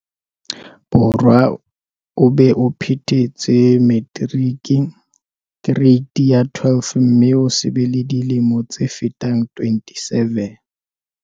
Borwa, o be o phethetse materiki-kereiti ya 12 mme o se be le dilemo tse fetang 27.